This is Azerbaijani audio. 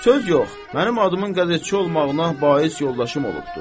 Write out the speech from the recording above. Söz yox, mənim adımın qəzetçi olmağına bais yoldaşım olubdur.